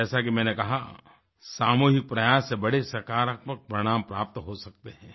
जैसा कि मैंने कहा सामूहिक प्रयास से बड़े सकारात्मक परिणाम प्राप्त हो सकते हैं